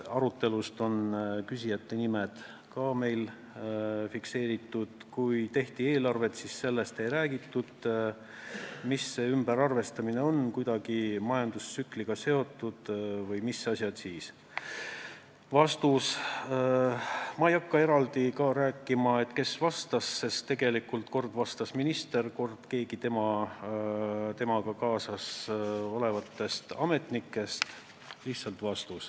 Kui eelarvet tehti, siis ei räägitud sellest, mida see ümberarvestamine tähendab, kas see on kuidagi majandustsükliga seotud vms.